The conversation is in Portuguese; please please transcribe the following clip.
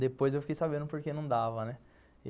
depois eu fiquei sabendo porque não dava, né?